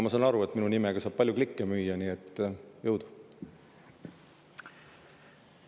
Ma saan aru, et minu nimega saab palju klikke müüa, nii et jõudu!